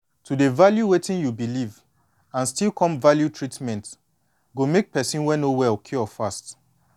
to dey value wetin you believe and still come value treatment go make person wey no well cure fast